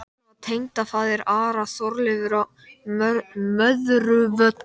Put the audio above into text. Þarna var tengdafaðir Ara, Þorleifur á Möðruvöllum.